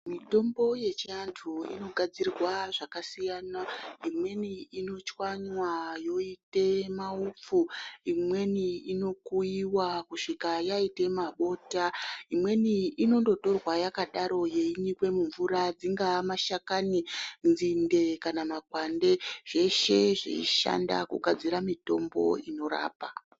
Mutombo yechiantu inogadzirwa zvakasiyana, imweni inochwanwa yoita maufu, imweni inokuyiwa kusvika yaita mabota, imweni inongotorwa yakadaro yeinyikwa mumvura, dzingawa mashakani, nzinde kana makwande zveshe zveishandiswa kugadzira mitombo inorapa.